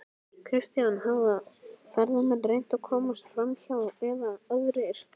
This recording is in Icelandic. Kristján: Hafa ferðamenn reynt að komast framhjá eða aðrir?